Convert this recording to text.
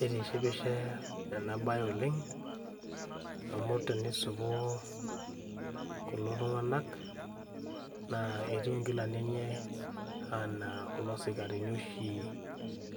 Eitishipisho ena bae oleng amu tenisipu kulo tung'anak naa etiu kuna kilani enye enaa le kulo sikarini oshi